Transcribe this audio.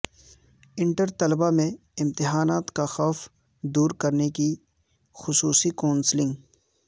inter طلبہ میں امتحانات کا خوف دور کرنے خصوصی کونسلنگ